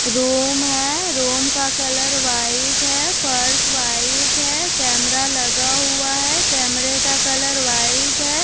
Room है room का colour white है फर्श वाइट है कैमरा लगा हुआ है कैमरे का कलर वाइट है।